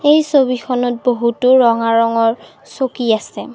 এই ছবিখনত বহুতো ৰঙা ৰঙৰ চকী আছে।